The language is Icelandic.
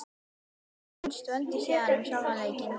En hvað fannst Vöndu síðan um sjálfan leikinn?